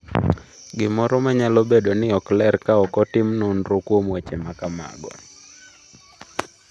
Gimoro ma nyalo bedo ni ok ler ka ok otim nonro kuom weche ma kamago.